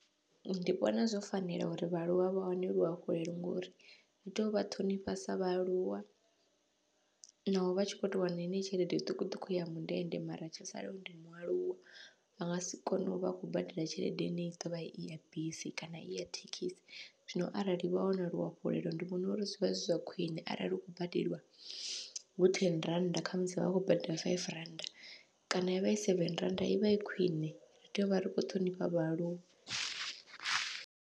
Ndi vhona zwo fanela uri vhaaluwa vha wane luhafhulelo, ngori ndi tovha ṱhonifha sa vhaaluwa naho vha tshi kho to wana heneyo tshelede zwiṱukuṱuku ya mundende, mara tsho salaho ndi mualuwa vha ngasi kone uvha vha khou badela tshelede ine i ḓovha iya bisi kana iya thekhisi. Zwino arali vha wana luafhulelo ndi vhona uri zwivha zwi zwa khwiṋe, arali hu kho badeliwa hu theni rannda khamusi vha vha khou badela five rand kana yavha i seven rannda ivha i khwiṋe ri tea uvha ri kho ṱhonifha vhaaluwa.